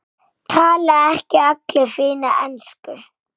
Tala ekki allir fína ensku?